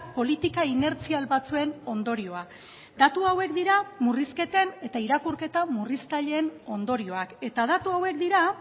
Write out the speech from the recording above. politika inertzial batzuen ondorioa datu hauek dira murrizketen eta irakurketa murriztaileen ondorioak eta datu hauek dira